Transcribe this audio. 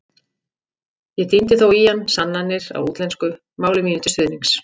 Ég tíndi þó í hann sannanir á útlensku, máli mínu til stuðnings.